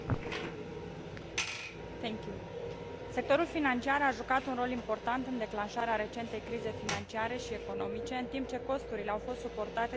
Sectorul financiar a jucat un rol important în declanșarea recentei crize financiare și economice, în timp ce costurile au fost suportate de administrațiile publice și de cetățenii europeni.